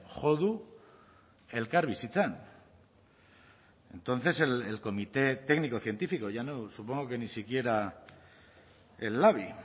jo du elkarbizitzan entonces el comité técnico científico ya no supongo que ni siquiera el labi